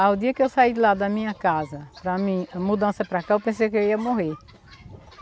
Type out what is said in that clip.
Ah, o dia que eu saí de lá da minha casa, para mim, mudança para cá, eu pensei que eu ia morrer.